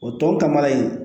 O tɔ kamana in